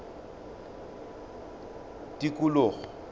tikologo